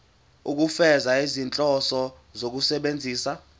ukufeza izinhloso zokusebenzisa